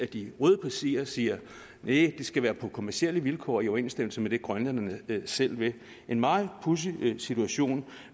de røde partier siger næh det skal være på kommercielle vilkår i overensstemmelse med det grønlænderne selv vil en meget pudsig situation